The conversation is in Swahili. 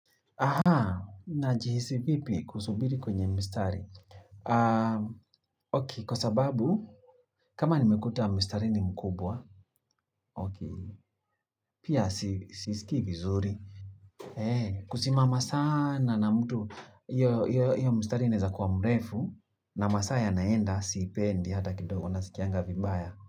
Aha, naajihisi vipi kusubiri kwenye mstari Ok, kwa sababu kama nimekuta mstari ni mkubwa Ok, pia sisikii vizuri kusimama sana na mtu hiyo hiyo mstari inaeza kuwa mrefu na masaa yanaenda siipendi hata kidogo nasikianga vibaya.